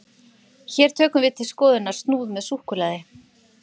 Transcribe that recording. hér tökum við til skoðunar snúð með súkkulaði